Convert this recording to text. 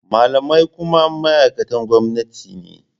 Malamai kuma ma’aikatan gwamnati ne.